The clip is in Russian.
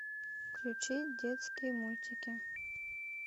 включи детские мультики